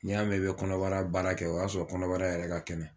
N'i y'a mɛn i bɛ kɔnɔbara baara kɛ o y'a sɔrɔ kɔnɔbara yɛrɛ ka kɛnɛ